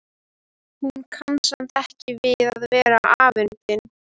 Hún kann samt ekki við að vera afundin.